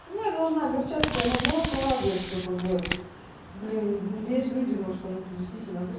чему я должна огорчаться я наоборот порадуюсь что как бы блин есть люди может кому-то действительно зас